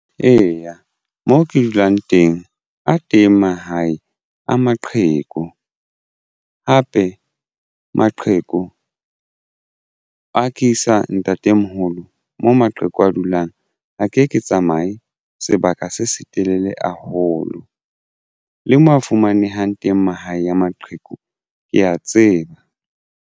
Eya, mo ke dulang teng a teng mahae a maqheku hape maqheku ha ke isa ntatemomoholo mo maqheku a dulang a ke ke tsamaye sebaka se setelele haholo le mo a fumanehang teng mahae a maqheku ke ya tseba.